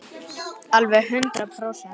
Alveg hundrað prósent.